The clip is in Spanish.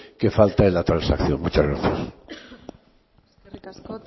que falta en la transacción muchas gracias eskerrik asko